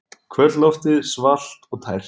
Kvöldloftið svalt og tært.